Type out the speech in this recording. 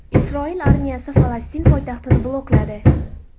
Isroil armiyasi Falastin poytaxtini blokladi.